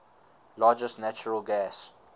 largest natural gas